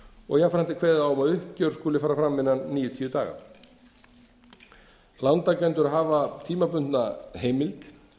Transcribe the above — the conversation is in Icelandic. og jafnframt er kveðið á um að uppgjör skuli fara fram innan níutíu daga lántakendur hafa tímabundna heimild